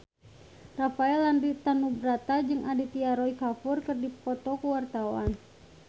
Rafael Landry Tanubrata jeung Aditya Roy Kapoor keur dipoto ku wartawan